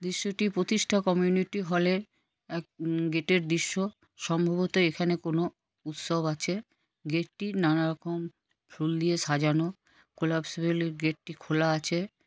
এটি প্রতিষ্ঠা community hall -এর গেট -এর দৃশ্য। সম্ভবত এখানে কোনো উৎসব আছে। গেট -টি নান রকম ফুল দিয়ে সাজানো। কলাপসুলের গেট -টি খোলা আছে।